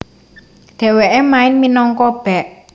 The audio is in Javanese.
Dhewekè main minangka bek